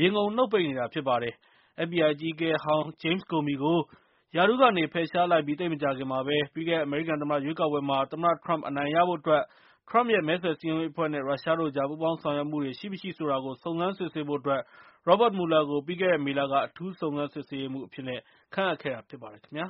ရေငုံနှုတ်ပိတ်နေတာဖြစ်ပါတယ်။ FBI အကြီးအကဲဟောင်း Jame Comey ကို ရာထူးကနေ ဖယ်ရှားလိုက်ပြီးသိပ်မကြာခင်မှာပဲ၊ ပြီးခဲ့တဲ့ အမေရိကန်သမ္မတရွေးကောက်ပွဲမှာ သမ္မတထရမ့်အနိုင်ရဖို့အတွက် ထရမ့်ရဲ့ မဲဆွယ်စည်းရုံးရေးအဖွဲ့နဲ့ ရုရှားတို့ကြား ပူးပေါင်းဆောင်ရွက်မှုတွေရှိမရှိဆိုတာကို စုံစမ်းစစ်ဆေးဖို့အတွက် Robert Mueller ကို ပြီးခဲ့တဲ့မေလက အထူူးစုံစမ်းစစ်ဆေးရေးမှူး အဖြစ်ခန့်အပ်ခဲ့တာဖြစ်ပါတယ်ခင်ဗျာ